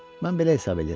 Mən belə hesab eləyirəm.